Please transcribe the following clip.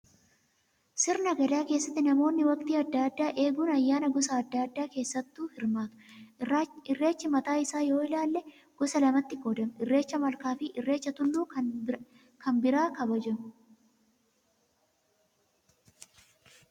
Sirna gadaa keessatti namoonni waqtii adda addaa eeguun ayyaana gosa adda addaa keessatti hirmaatu. Irreecha mataa isaa yoo ilaalle gosa lamatti qoodama. Irreecha malkaa fi irreecha tulluu kan birraa kabajamu